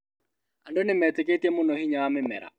Andũ nĩmeetĩkĩtie mũno hinya wa mĩmera